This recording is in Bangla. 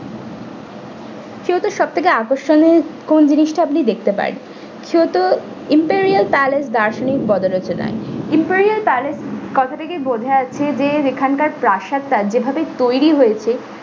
kyoto এর সবচেয়ে আকর্ষণীয় কোন জিনিসটি আপনি দেখতে পারেন kyoto imperial palace দার্শনিক বদালোচনায় imperial palace কথা থেকেই বোঝা যাচ্ছে যেখানকার প্রাসাদটা যেভাবে তৈরী হয়েছে।